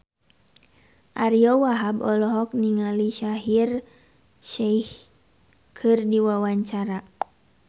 Ariyo Wahab olohok ningali Shaheer Sheikh keur diwawancara